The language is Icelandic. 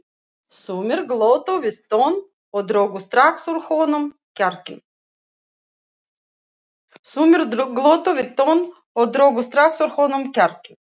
Sumir glottu við tönn og drógu strax úr honum kjarkinn.